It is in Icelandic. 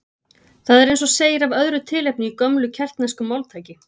Það er eins og segir af öðru tilefni í gömlu keltnesku máltæki